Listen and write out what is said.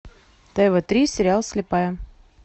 тв три сериал слепая